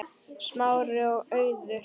Smári og Auður.